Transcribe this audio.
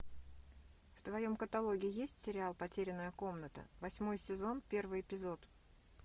в твоем каталоге есть сериал потерянная комната восьмой сезон первый эпизод